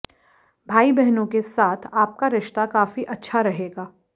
भाई बहनों के साथ आपका रिश्ता काफी अच्छा रहेगा